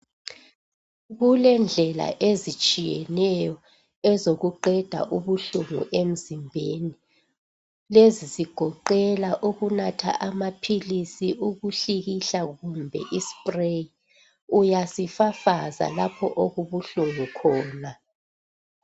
Kulendlela ezitshiyeneyo ezokuqeda ubuhlungu emzimbeni lezizigoqela ukunatha amaphilisi, ukuhlikihla kumbe iSpray uyasifafaza lapho okubuhlungu khona.